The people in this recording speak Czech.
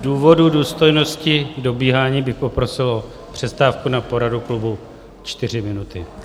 Z důvodu důstojnosti dobíhání bych poprosil o přestávku na poradu klubu 4 minuty.